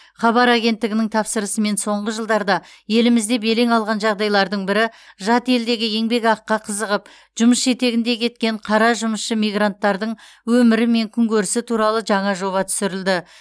хабар агенттігінің тапсырысымен соңғы жылдарда елімізде белең алған жағдайлардың бірі жат елдегі еңбекақыға қызығып жұмыс жетегінде кеткен қара жұмысшы мигранттардың өмірі мен күнкөрісі туралы жаңа жоба түсірілді